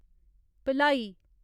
Bhilai